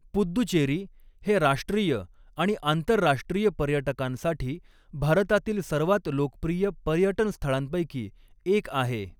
पुद्दुचेरी हे राष्ट्रीय आणि आंतरराष्ट्रीय पर्यटकांसाठी भारतातील सर्वात लोकप्रिय पर्यटन स्थळांपैकी एक आहे.